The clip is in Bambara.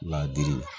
Ladiri la